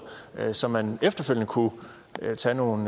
så man efterfølgende kunne tage nogle